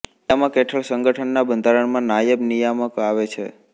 નિયામક હેઠળ સંગઠનના બંધારણમાં નાયબ નિયામક આવે છે